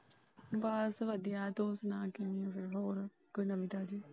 ਬਸ ਵਧੀਆ ਤੂੰ ਸੁਣਾ ਕਿਵੇਂ ਏ ਕੋਈ ਹੋਰ ਨਵੀ ਤਾਜ਼ੀ।